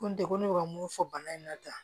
Ko n degun ne bɛ ka mun fɔ bana in na tan